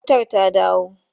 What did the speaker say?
Wutar ta dawo?